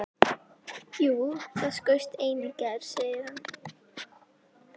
Jú, það skaust ein í gær, segir hann.